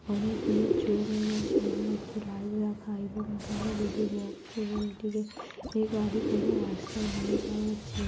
অনেকগুলো চোঙ এবং সামনে একটি লাইট রাখা এবং এখানে দুটি বক্স এবং এটিকে এ গাড়ি করে রাস্তায় নিয়ে যাওয়া হচ্ছে ।